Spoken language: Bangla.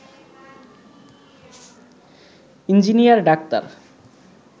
engineer doctor